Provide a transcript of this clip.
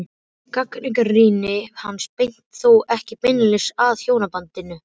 Gagnrýni hans beinist þó ekki beinlínis að hjónabandinu.